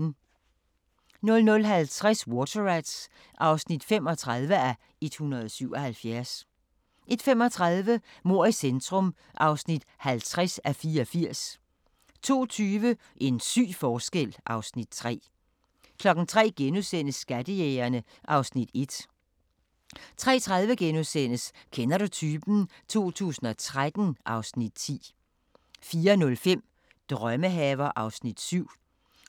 00:50: Water Rats (35:177) 01:35: Mord i centrum (50:84) 02:20: En syg forskel (Afs. 3) 03:00: Skattejægerne (Afs. 1)* 03:30: Kender du typen? 2013 (Afs. 10)* 04:05: Drømmehaver (Afs. 7)